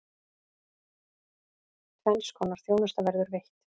Tvenns konar þjónusta verður veitt.